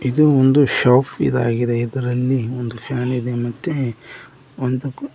ಇದು ಒಂದು ಶಾಪ್ ಇದಾಗಿದೆ ಇದರಲ್ಲಿ ಒಂದು ಫ್ಯಾನ್ ಮತ್ತೆ ಒಂದು--